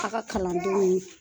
A ka kalandenw ni